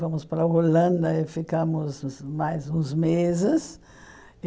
Fomos para a Holanda e ficamos mais uns meses.